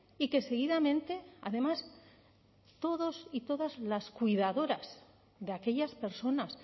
y que seguidamente además todos y todas las cuidadoras de aquellas personas